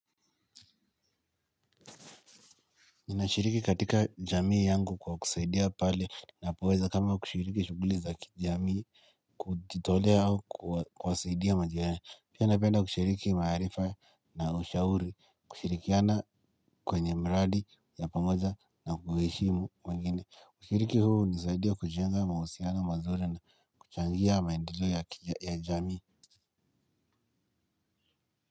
Ninashiriki katika jamii yangu kwa kusaidia pale ninapoweza kama kushiriki shughuli za kijamii kujitolea au kuwasaidia majirani. Pia napenda kushiriki maarifa na ushauri kushirikiana kwenye mradi ya pamoja na kuheshimu wengine. Kushiriki huu hunisaidia kujenga mahusiano mazuri na kuchangia maendeleo ya jamii.